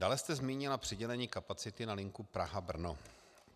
Dále jste zmínila přidělení kapacity na linku Praha - Brno.